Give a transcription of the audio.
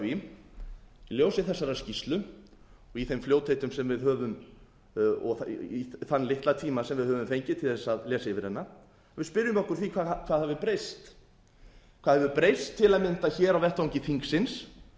í ljósi þessarar skýrslu og í þeim fljótheitum sem við höfum þann litla tíma sem við höfum fengið til þess að lesa yfir hana við spyrjum okkur að því hvað hafi breyst hvað hefur breyst til að mynda hér á vettvangi þingsins